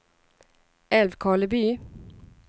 Älvkarleby